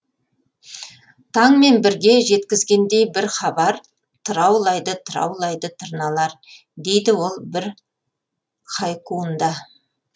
таңмен бірге жеткізгендей бір хабар тыраулайды тыраулайды тырналар дейді ол бір хайкуында